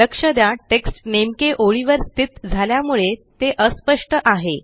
लक्ष द्या टेक्स्ट नेमके ओळीवर स्थित झाल्यामुळे ते अस्पष्ट आहे